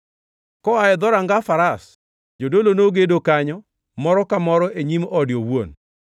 Koa e Dhoranga Faras, jodolo nogedo kanyo, moro ka moro e nyim ode owuon.